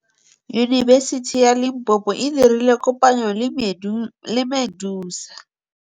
Yunibesiti ya Limpopo e dirile kopanyô le MEDUNSA.